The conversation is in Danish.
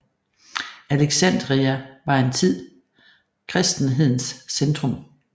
Alexandria var en tid kristenhedens centrum